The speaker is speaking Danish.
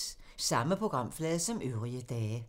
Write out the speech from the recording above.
Samme programflade som øvrige dage